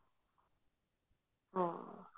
ਹਾਂ